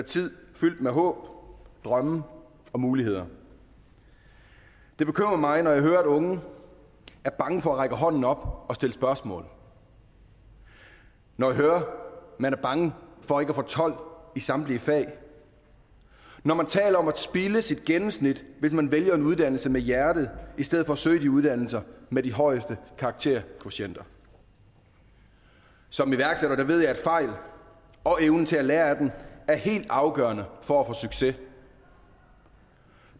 tid fyldt med håb drømme og muligheder det bekymrer mig når jeg hører at unge er bange for at række hånden op og stille spørgsmål når jeg hører at man er bange for ikke at få tolv i samtlige fag når man taler om at spilde sit gennemsnit hvis man vælger en uddannelse med hjertet i stedet for at søge de uddannelser med de højeste karakterkvotienter som iværksætter ved jeg er fejl og evnen til at lære af dem er helt afgørende for at få succes